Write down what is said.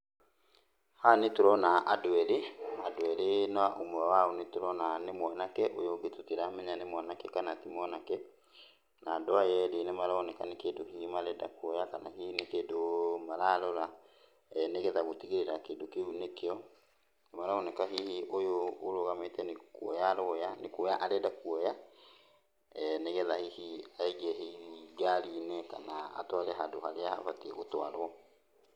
Haha nĩtũrona andũ erĩ, andũ erĩ na ũmwe wao nĩtũrona nĩ mwanake, ũyũ ũngĩ tũtiramenya nĩ mwanake kana ti mwanake. Na andũ aya erĩ nĩmaroneka nĩ kĩndũ hihi marenda kuoya, kana hihi nĩ kĩndũ mararora nĩgetha gũtigĩrĩra kĩndũ kĩu nĩkĩo. Maroneka hihi ũyũ ũrũgamĩte nĩ kuoya aroya, nĩ kuoya arenda kuoya, nĩgetha hihi aige hihi ngari-inĩ kana atware handũ harĩa abatiĩ gũtwarũo.